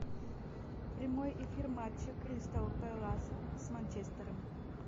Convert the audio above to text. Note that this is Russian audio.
прямой эфир матча кристал пэласа с манчестером